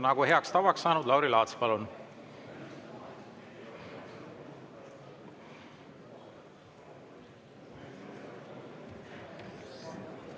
Nagu on heaks tavaks saanud, Lauri Laats, palun!